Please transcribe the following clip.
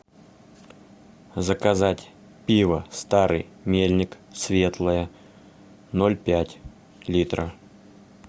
заказать пиво старый мельник светлое ноль пять литра